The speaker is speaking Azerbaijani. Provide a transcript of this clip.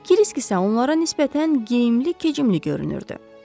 Kirisk isə onlara nisbətən geyimli-kecimli görünürdü.